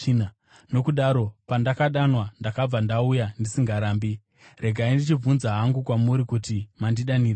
Nokudaro pandakadanwa, ndakabva ndauya ndisingarambi. Regai ndichibvunza hangu kwamuri kuti mandidanirei?”